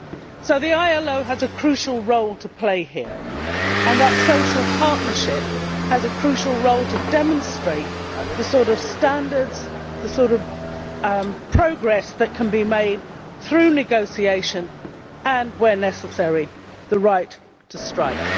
So the ILO has a crucial role to play here and that social partnership has a crucial role to demonstrate the sort of standards, the sort of progress that can be made through negotiation and, where necessary, the right to strike.